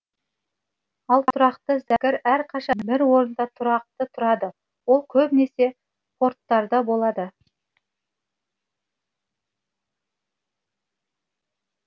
ал тұрақты зәкір әрқашан бір орында тұрақты тұрады ол көбінесе порттарда болады